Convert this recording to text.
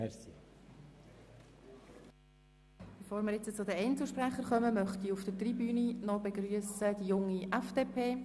Bevor wir zu den Einzelsprechern kommen, begrüsse ich auf der Tribüne die Junge FDP.